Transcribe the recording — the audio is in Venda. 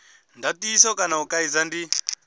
ndatiso kana u kaidza ndi